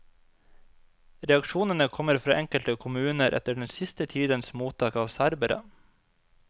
Reaksjonene kommer fra enkelte kommuner etter den siste tidens mottak av serbere.